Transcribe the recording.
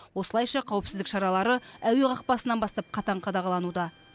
осылайша қауіпсіздік шаралары әуе қақпасынан бастап қатаң қадағалануда